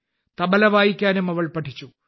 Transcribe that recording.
തബല വായിക്കാനും അവൾ പഠിച്ചു